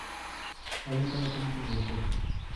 Lawle Tait en tukosiek